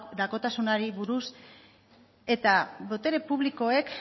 doakotasunari buruz eta botere publikoek